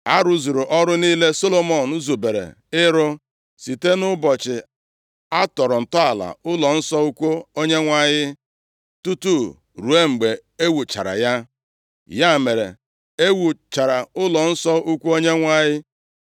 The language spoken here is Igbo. A rụzuru ọrụ niile Solomọn zubere ịrụ, site nʼụbọchị a tọrọ ntọala ụlọnsọ ukwu Onyenwe anyị tutu ruo mgbe ewuchara ya. Ya mere, e wuchara ụlọnsọ ukwu Onyenwe anyị.